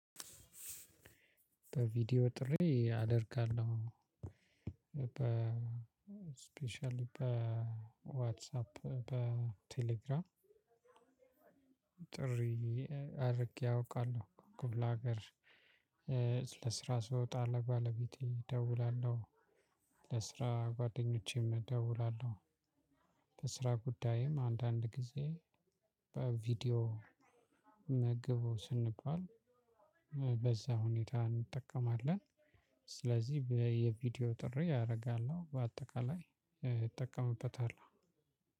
በቪዲዮ ጥሪ አደርጋለሁ። ስፔሻሊ በዋትሳፕ በቴሌግራም። ጥሪ አድርጌ አውቃለሁ። ክፍለ ሀገር ለስራ ስወጣ ለባለቤቴ እደውላለሁ። ለስራ ጓደኞቼም እደውላለሁ። ለስራ ጉዳይም አንዳንድ ጊዜ በቪዲዮ ኑ ግቡ ስንባል በዛ ሁኔታ እንጠቀማለን። ስለዚህ በየቪዲዮ ጥሪ አደርጋለሁ በአጠቃላይ እጠቀምበታለሁ።